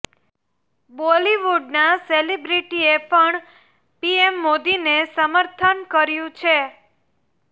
બોલીવુડના સેલીબ્રીટી એ પણ પીએમ મોદીને સમર્થન કર્યું છે